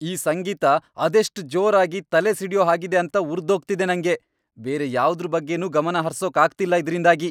ಈ ಸಂಗೀತ ಅದೆಷ್ಟ್ ಜೋರಾಗಿ, ತಲೆ ಸಿಡ್ಯೋ ಹಾಗಿದೆ ಅಂತ ಉರ್ದೋಗ್ತಿದೆ ನಂಗೆ.. ಬೇರೆ ಯಾವ್ದ್ರ್ ಬಗ್ಗೆನೂ ಗಮನ ಹರ್ಸೋಕ್ ಆಗ್ತಿಲ್ಲ ಇದ್ರಿಂದಾಗಿ.